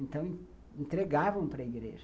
Então, entregavam para a igreja.